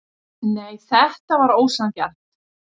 Nei, þetta var ósanngjarnt.